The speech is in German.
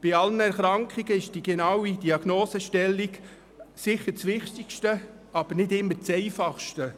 Bei allen Erkrankungen ist die genaue Diagnosestellung sicher das Wichtigste, aber nicht immer das Einfachste.